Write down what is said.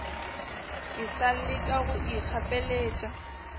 ke sa leka go ikgapeletša